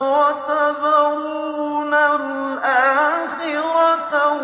وَتَذَرُونَ الْآخِرَةَ